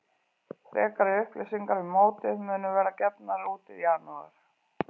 Frekari upplýsingar um mótið munu verða gefnar út í janúar.